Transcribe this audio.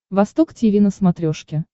восток тиви на смотрешке